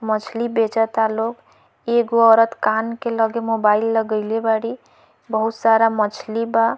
मछली बचत लोग एगो औरत कान के लगे मोबाइल लगाएले बारी बहुत सारा मछली बा।